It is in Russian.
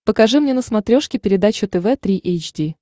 покажи мне на смотрешке передачу тв три эйч ди